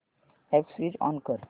app switch on कर